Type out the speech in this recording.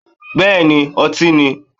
Bẹ́ẹ̀ni ọtí ni.